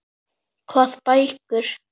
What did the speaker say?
Hvað bækur?